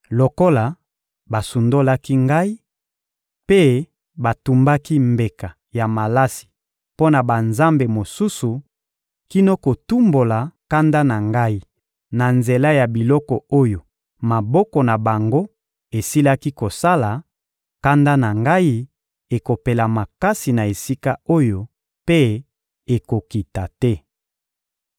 Lokola basundolaki Ngai mpe batumbaki mbeka ya malasi mpo na banzambe mosusu kino kotumbola kanda na Ngai na nzela ya biloko oyo maboko na bango esilaki kosala, kanda na Ngai ekopela makasi na esika oyo, mpe ekokita te.